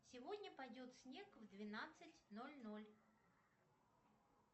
сегодня пойдет снег в двенадцать ноль ноль